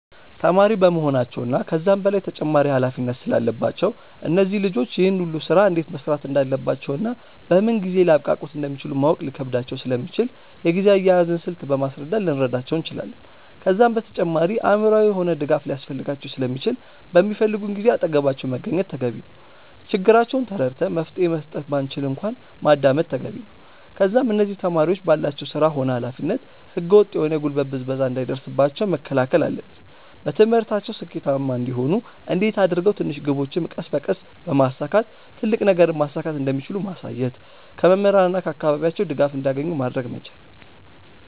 ተማሪ በመሆናቸው እና ከዛም በላይ ተጨማሪ ኃላፊነት ስላለባቸው እነዚህ ልጆች ይህን ሁሉ ስራ እንዴት መስራት እንዳለባቸውና በምን ጊዜ ሊያብቃቁት እንደሚችሉ ማወቅ ሊከብዳቸው ስለሚችል የጊዜ አያያዝን ስልት በማስረዳት ልንረዳቸው እንችላለን። ከዛም በተጨማሪ አእምሮአዊ የሆነ ድጋፍ ሊያስፈልጋቸው ስለሚችል በሚፈልጉን ጊዜ አጠገባቸው መገኘት ተገቢ ነው። ችግራቸውን ተረድተን መፍትሄ መስጠት ባንችል እንኳን ማዳመጥ ተገቢ ነው። ከዛም እነዚህ ተማሪዎች ባላቸው ስራ ሆነ ኃላፊነት ህገ ወጥ የሆነ የጉልበት ብዝበዛ እንዳይደርስባቸው መከላከል አለብን። በትምህርታቸው ስኬታማ እንዲሆኑ እንዴት አድርገው ትንሽ ግቦችን ቀስ በቀስ በማሳካት ትልቅ ነገርን ማሳካት እንደሚችሉ ማሳየት። ከመምህራን እና ከአካባቢያቸው ድጋፍ እንዲያገኙ ማድረግ መቻል።